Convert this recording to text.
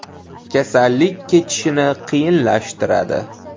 Kasallik kechishini qiyinlashtiradi.